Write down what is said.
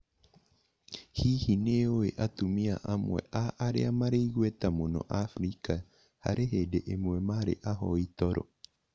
Hihi, nĩ ũĩ atumia amwe a arĩa marĩ igweta mũno Abirika harĩ hĩndĩ ĩmwe maarĩ ahoi toro?